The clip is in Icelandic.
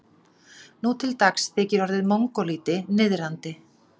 Nú til dags þykir orðið mongólíti niðrandi.